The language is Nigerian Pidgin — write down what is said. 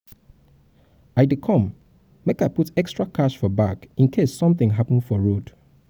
i dey come make i um put extra cash for bag in case something happen for road um